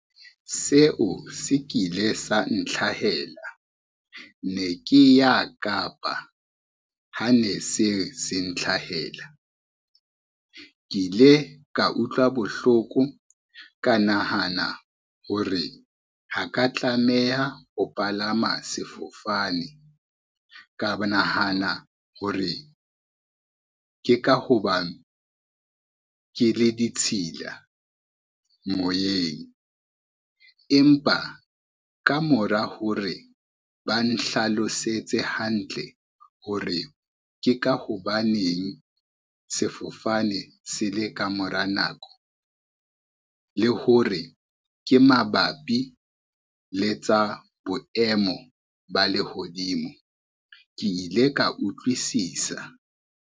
Seo se ke ile sa ntlhahela ne ke ya Kapa, ha ne se se ntlhahela. Ke ile ka utlwa bohloko, ka nahana hore ha ka tlameha ho palama sefofane, ka nahana hore ke ka hobane ke le ditshila moyeng, empa ka mora hore ba nhlalosetse hantle hore ke ka hobaneng sefofane se le ka mora nako, le hore ke mabapi le tsa boemo ba lehodimo, ke ile ka utlwisisa.